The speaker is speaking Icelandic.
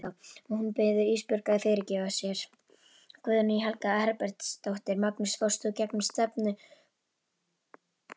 Og hún biður Ísbjörgu að fyrirgefa sér.